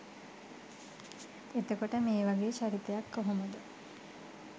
එතකොට මේ වගේ චරිතයක් කොහොමද